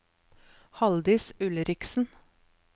Halldis Ulriksen